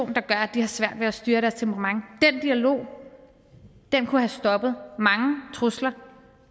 der gør at de har svært ved at styre deres temperament den dialog kunne have stoppet mange trusler